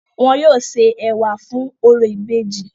Wọn yóò se ẹ̀wà fún orò ìbejì.